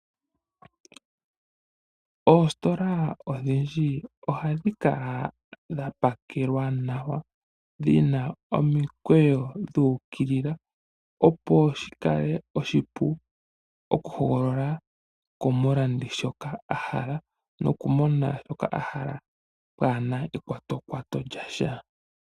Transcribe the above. Oositola odhindji ohadhi kala dha pakelwa nawa. Dhina omikweyo dhuukilila nawa . Opo shi kale oshipu oku hogolola komulandi Shoka ahala noku mona shoka ahala pwaana ekwatokwato lyasha.